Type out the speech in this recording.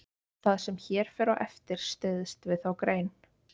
Það sem hér fer á eftir styðst við þá grein.